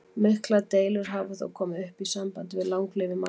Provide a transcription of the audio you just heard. Miklar deilur hafa þó komið upp í sambandi við langlífi manna.